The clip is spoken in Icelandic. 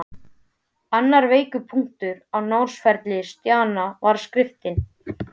Annar veikur punktur á námsferli Stjána var skriftin.